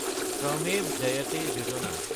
শ্ৰমেভ জয়তে যোজনা